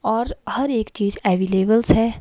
और हर एक चीज अवेलेबल्स है।